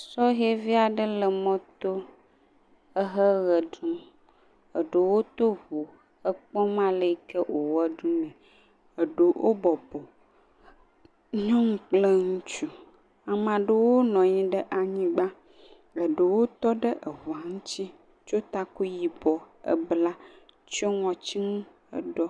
Sɔhɛvi aɖewo le mɔto heɣeɖum ɖewo tɔ ʋu ekpɔm ale yike wòɣeaɖum ɖewo bɔbɔ nyɔnu kple ŋutsu ame ɖewo nɔ anyi ɖe anyigbã ɖewo tɔɖe ʋu ŋti tsɔ taku yibɔ hebla tsɔ ŋɔtinu ɖɔ